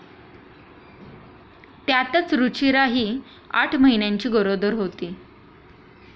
त्यातच रुचिरा ही आठ महिन्यांची गरोदर होती.